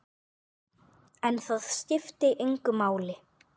En það skipti engu máli.